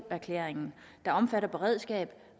erklæringen der omfatter beredskab